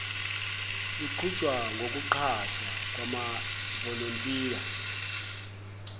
luqhutshwa ngokuqashwa kwamavolontiya